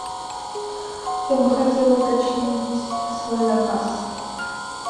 я бы хотела уточнить свой заказ